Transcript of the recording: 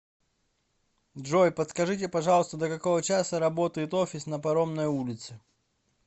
джой подскажите пожалуйста до какого часа работает офис на паромной улице